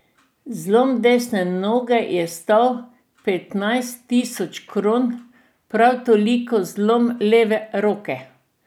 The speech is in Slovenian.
Zlom desne noge je stal petnajst tisoč kron, prav toliko zlom leve roke.